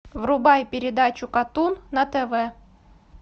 врубай передачу катун на тв